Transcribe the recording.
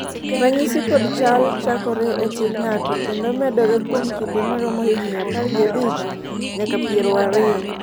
ranyisi kod chal chakore e tin ng'ato kendo medore kuom kinde maromo higni apar gi abich nyaka piero ariyo